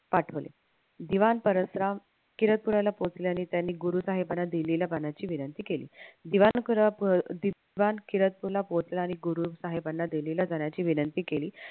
पाठवले दिवाण परसराम किरदपुराला पोहोचल्याने त्याने गुरुसाहेबाना दिलेल्या विनंती केली दिवाण किरदपूरला पोहोचल्याने गुरुसाहेबाना दिलेल्या विनंती केली